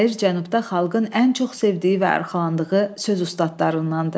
Şair Cənubda xalqın ən çox sevdiyi və arxalandığı söz ustalarındandır.